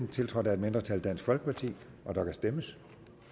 tiltrådt af et mindretal der kan stemmes